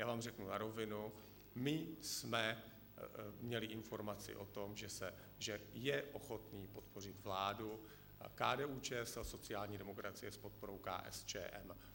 Já vám řeknu na rovinu, my jsme měli informaci o tom, že je ochotný podpořit vládu KDU-ČSL, sociální demokracie s podporou KSČM.